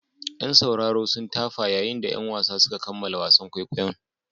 Yan sauraro sun tafa yayin da 'yan wasan suka kammala wasan kwaikwayon.